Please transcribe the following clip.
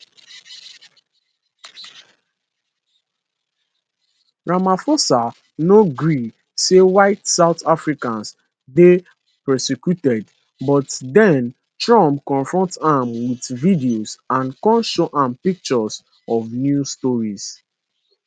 ramaphosa no gree say white south africans dey persecuted but den trump confront am wit video and kon show am pictures of news stories